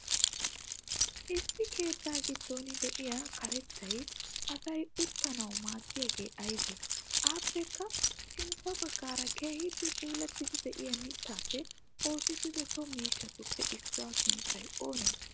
Issi keettaa giddon de7iya kaarettay asay uttanawu maadiyagee aybe? appekka sintta baggara keehippe puulatidi de7iya mittappe oosetida so miishshatuppe issuwaa sunttay oonee?